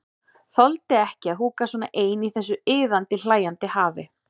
Þoldi ekki að húka svona ein í þessu iðandi, hlæjandi hafi.